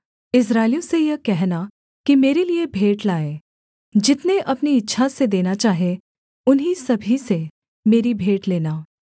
इस्राएलियों से यह कहना कि मेरे लिये भेंट लाएँ जितने अपनी इच्छा से देना चाहें उन्हीं सभी से मेरी भेंट लेना